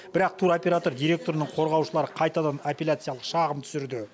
бірақ туроператор директорының қорғаушылары қайтадан аппеляциялық шағым түсірді